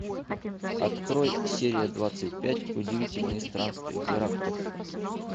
открой серия двадцать пять удивительные странствия геракла